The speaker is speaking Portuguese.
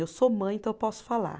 Eu sou mãe, então eu posso falar.